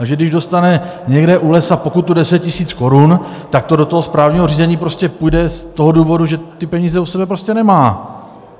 Takže když dostane někde u lesa pokutu deset tisíc korun, tak to do toho správního řízení prostě půjde z toho důvodu, že ty peníze u sebe prostě nemá.